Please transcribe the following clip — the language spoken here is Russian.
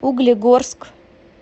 углегорск